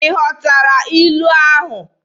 Ị ghọtara ilu ahụ?